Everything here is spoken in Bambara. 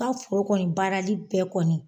kɔni baarali bɛɛ kɔni.